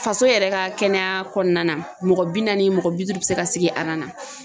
Faso yɛrɛ ka kɛnɛya kɔnɔna na mɔgɔ bi naani mɔgɔ bi duuru bi se ka sigi na